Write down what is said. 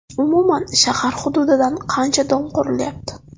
Umuman, shahar hududida qancha dom qurilyapti?